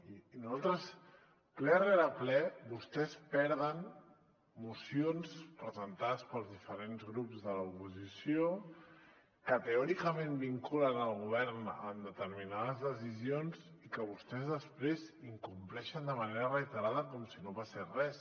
i ple rere ple vostès perden mocions presentades pels diferents grups de l’oposició que teòricament vinculen el govern en determinades decisions i que vostès després incompleixen de manera reiterada com si no passés res